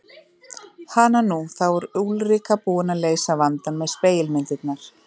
Hananú, þá er Úlrika búin að leysa vandann með spegilmyndirnar.